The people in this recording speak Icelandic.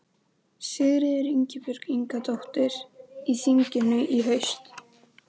Sigríður Ingibjörg Ingadóttir: Í þinginu í haust?